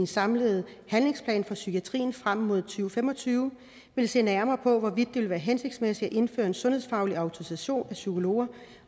samlede handlingsplan for psykiatrien frem mod to fem og tyve vil se nærmere på hvorvidt det vil være hensigtsmæssigt at indføre en sundhedsfaglig autorisation af psykologer